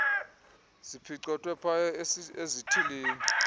ziphicothwe phaya ezithilini